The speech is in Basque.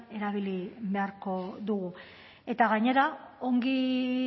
erabili beharko dugu eta gainera ongi